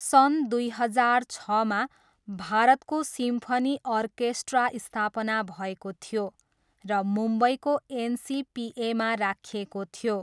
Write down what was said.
सन् दुई हजार छमा, भारतको सिम्फनी अर्केस्ट्रा स्थापना भएको थियो, र मुम्बईको एनसिपिएमा राखिएको थियो।